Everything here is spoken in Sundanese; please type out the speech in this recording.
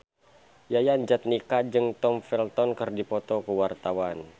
Yayan Jatnika jeung Tom Felton keur dipoto ku wartawan